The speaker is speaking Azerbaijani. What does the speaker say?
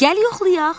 Gəl yoxlayaq.